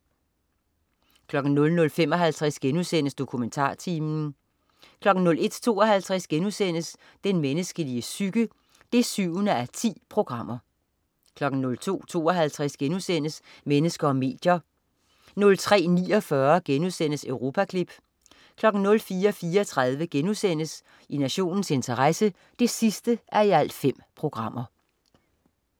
00.55 DokumentarTimen* 01.52 Den menneskelige psyke 7:10* 02.52 Mennesker og medier* 03.49 Europaklip* 04.34 I nationens interesse 5:5*